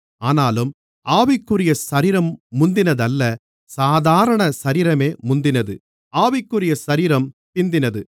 ஆனாலும் ஆவிக்குரிய சரீரம் முந்தினதல்ல சாதாரண சரீரமே முந்தினது ஆவிக்குரிய சரீரம் பிந்தினது